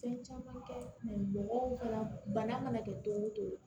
Fɛn caman kɛ mɔgɔw ka bana mana kɛ don o don